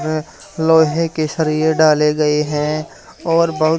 लोहे की सरिया डाले गए हैं और बहु--